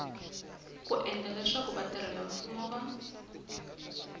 ku endla leswaku vatirhelamfumo va